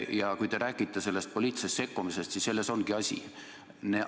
Ja kui te räägite poliitilisest sekkumisest, siis selles ongi asi.